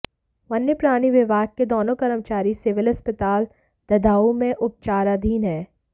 वन्य प्राणी विभाग के दोनों कर्मचारी सिविल अस्पताल ददाहू में उपचाराधीन हैं